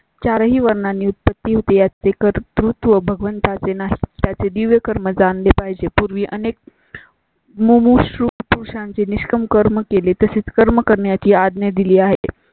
चार ही वर्णांनी उत्पत्ती चे कर. तू भगवंता चे नाव त्याचे दिव्यकर्मा जाणले पाहिजे. पूर्वी अनेक मुर्शतपूर, चांद निष्काम कर्म केली तसेच कर्म करण्याची आज्ञा दिली आहे